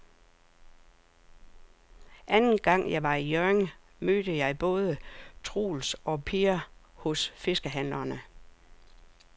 Anden gang jeg var i Hjørring, mødte jeg både Troels og Per hos fiskehandlerne.